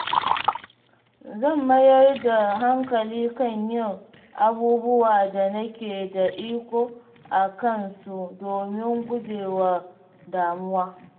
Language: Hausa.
Zan mayar da hankali kan yin abubuwa da nake da iko a kansu domin gujewa damuwa.